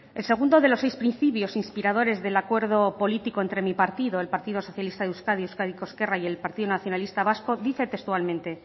el segundo de los seis principios inspiradores del acuerdo político entre mi partido el partido socialista de euskadi euskadiko ezkerra y el partido nacionalista vasco dice textualmente